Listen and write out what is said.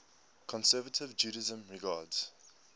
conservative judaism regards